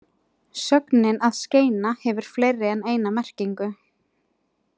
Sögnin að skeina hefur fleiri en eina merkingu.